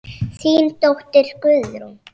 Þín dóttir Guðrún.